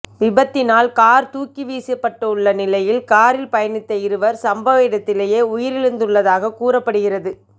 விபத்தினால் car துாக்கி வீசப்பட்டுள்ள நிலையில் காாில் பயணித்த இருவா் சம்பவ இடத்திலேயே உயிாிழந்துள்ளதகவும் கூறப்படுகின்றது